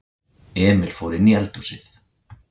Emil fór inní eldhúsið.